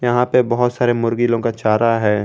यहां पे बहुत सारे मुर्गी लोगों का चारा है।